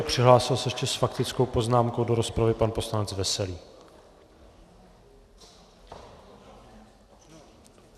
A přihlásil se ještě s faktickou poznámkou do rozpravy pan poslanec Veselý.